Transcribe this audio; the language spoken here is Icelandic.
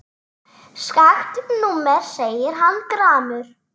Skakkt númer segir hann gramur.